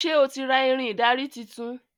Ṣe o tí ra Irin ìdarí títún?